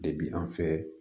Depi an fɛ